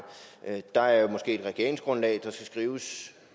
der er måske et regeringsgrundlag der skal skrives